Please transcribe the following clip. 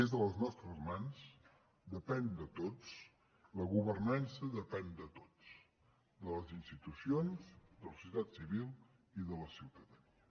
és a les nostres mans depèn de tots la governança depèn de tots de les institucions de la societat civil i de la ciutadania